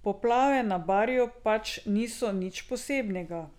Poplave na Barju pač niso nič posebnega.